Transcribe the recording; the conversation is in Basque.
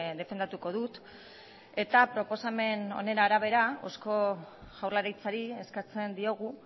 defendatuko dut eta proposamen honen arabera eusko jaurlaritzari eskatzen diogu